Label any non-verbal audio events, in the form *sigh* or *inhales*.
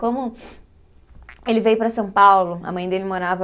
Como *inhales* ele veio para São Paulo, a mãe dele morava